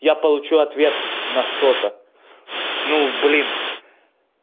я получу ответ на что-то ну блин